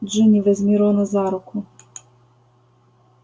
джинни возьми рона за руку